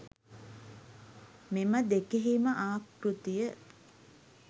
මෙම දෙකෙහිම ආකෘතිය